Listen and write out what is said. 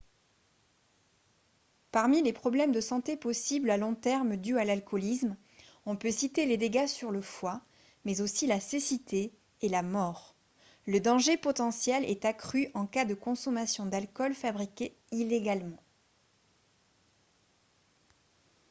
parmi les problèmes de santé possibles à long terme dus à l'alcoolisme on peut citer les dégâts sur le foie mais aussi la cécité et la mort le danger potentiel est accru en cas de consommation d'alcool fabriqué illégalement